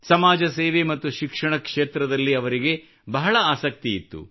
ಸಮಾಜ ಸೇವೆ ಮತ್ತು ಶಿಕ್ಷಣ ಕ್ಷೇತ್ರದಲ್ಲಿ ಅವರಿಗೆ ಬಹಳ ಆಸಕ್ತಿಯಿತ್ತು